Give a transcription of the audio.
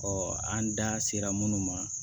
an da sera minnu ma